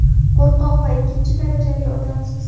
qo‘rqoq va ikkinchi darajali odamsiz.